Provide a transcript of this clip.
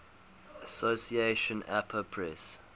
association apa press